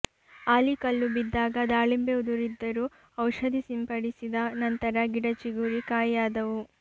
ಆಲಿಕಲ್ಲು ಬಿದ್ದಾಗ ದಾಳಿಂಬೆ ಉದುರಿದ್ದರೂ ಔಷಧಿ ಸಿಂಪಡಿಸಿದ ನಂತರ ಗಿಡ ಚಿಗುರಿ ಕಾಯಿಯಾದವು